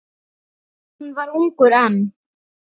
Hann var ungur enn.